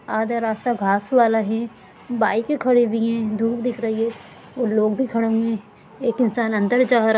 आधा रास्ता घास वाला है बाइके खड़ी हुई है दूर दिख रही है ओर लोग भी खड़े हुए हैं एक इंसान अंदर जारा--